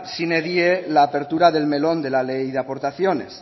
sine die la apertura del melón de la ley de aportaciones